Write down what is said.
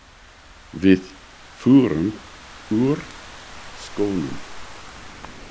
Við förum úr skónum.